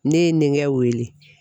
Ne ye n denkɛ weele.